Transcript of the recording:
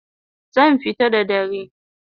Zan fita da dare